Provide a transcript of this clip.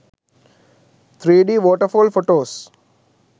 3d waterfall photos